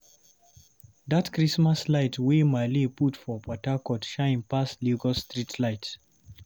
Dat Christmas light wey Maale put for Port Harcourt shine pass Lagos streetlight.